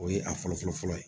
O ye a fɔlɔ fɔlɔ fɔlɔ ye